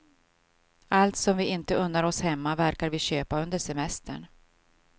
Allt som vi inte unnar oss hemma verkar vi köpa under semestern.